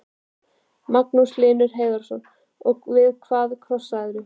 Magnús Hlynur Hreiðarsson: Og við hvað krossaðirðu?